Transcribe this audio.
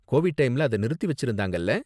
Covid டைம்ல அத நிறுத்தி வெச்சிருந்தாங்கல்ல.